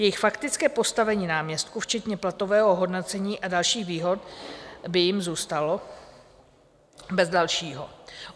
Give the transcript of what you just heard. Jejich faktické postavení náměstků, včetně platového ohodnocení a dalších výhod, by jim zůstalo bez dalšího.